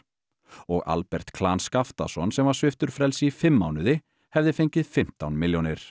og Albert Skaftason sem var sviptur frelsi í fimm mánuði hefði fengið fimmtán milljónir